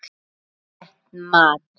Það er rétt mat.